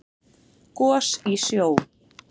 Gos í sjó